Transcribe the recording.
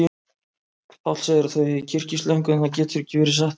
Páll segir að þau eigi kyrkislöngu, en það getur ekki verið satt.